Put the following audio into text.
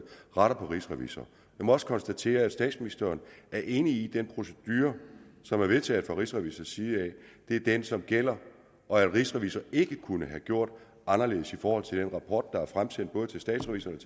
retter mod rigsrevisor jeg må også konstatere at statsministeren er enig i den procedure som er vedtaget fra rigsrevisors side det er den som gælder og at rigsrevisor ikke kunne have gjort anderledes i forhold til den rapport der er fremsendt både til statsrevisorerne